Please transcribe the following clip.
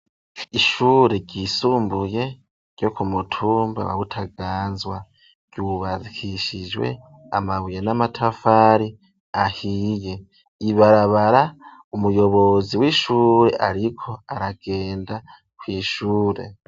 Ishure ryisumbuye ryo ku mutumba wa Butaganzwa ryubakishijwe amabuye n'amatafari ahiye, ibarabara umuyobozi w'ishure ariko aragenda kw'ishure.